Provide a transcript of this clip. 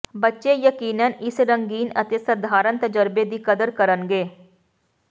ਬੱਚੇ ਯਕੀਨਨ ਇਸ ਰੰਗੀਨ ਅਤੇ ਸਧਾਰਨ ਤਜਰਬੇ ਦੀ ਕਦਰ ਕਰਨਗੇ